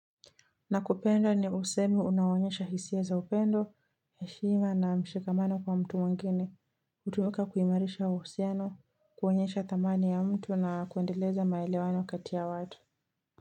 Nakupenda ni usemi unaonyesha hisia za upendo, heshima na mshigamano kwa mtu wangine, utumika kuhimarisha usiano, kuonyesha dhamani ya mtu na kuendeleza maelewano kati watu.